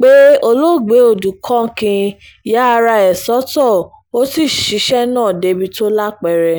pé olóògbé odukákín ya ara ẹ̀ sọ́tọ̀ ó sì ṣiṣẹ́ náà débi tó lápẹẹrẹ